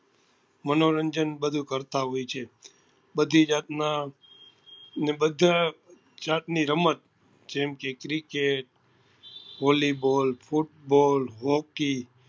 મનોરંજન બધું કરતા હોય છે બધી જાત નાં ને બધા જાત ની રમત જેમ કે cricket volly ball football hockey